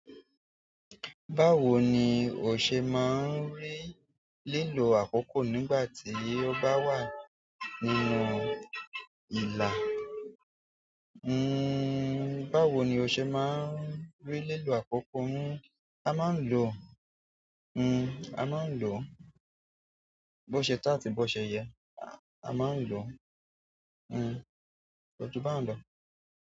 Báwo ni o ṣe máa ń rí lílo àkókò nígbà tí o bá wà nínú ìlà? Báwo ni o ṣe máa ń rí lílò àkókò? A máa ń lo, a máa ń lòó bó ṣe tọ́ àti bó ṣe yẹ. A máa ń lo, kò jù báhun lọ.